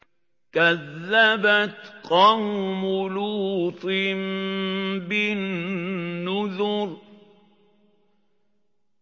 كَذَّبَتْ قَوْمُ لُوطٍ بِالنُّذُرِ